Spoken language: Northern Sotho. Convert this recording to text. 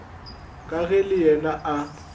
ka ge le yena a